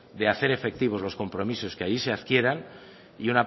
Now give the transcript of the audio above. de hacer efectivo los compromisos que ahí se adquieran y